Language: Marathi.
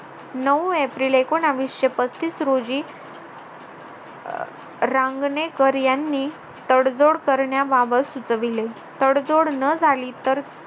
नऊ एप्रिल एकोनाविशे पस्तीस रोजी अह रांगणेकर यांनी तडजोड करण्याबाबत सुचविले तडजोड न झाली तर